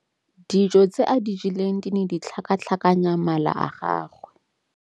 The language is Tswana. Dijô tse a di jeleng di ne di tlhakatlhakanya mala a gagwe.